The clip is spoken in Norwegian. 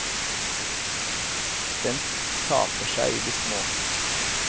Den taper seg i det små.